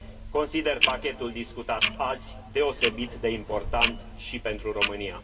Consider pachetul discutat azi deosebit de important și pentru România.